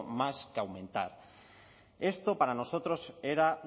más que aumentar esto para nosotros era